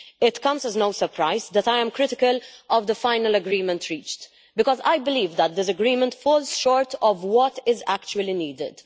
It comes as no surprise that I am critical of the final agreement reached, because I believe that this agreement falls short of what is actually needed.